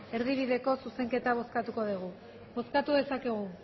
erdibideko zuzenketa bozkatuko dugu bozkatu dezakegu